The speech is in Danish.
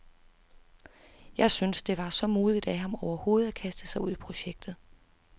Jeg syntes, det var så modigt af ham overhovedet at kaste sig ud i projektet.